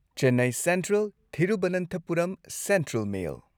Chennai central Thiruvananthapuram central mail